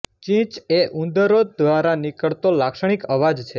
ચીંચ એ ઉંદરો ધ્વારા નીકળતો લાક્ષણીક અવાજ છે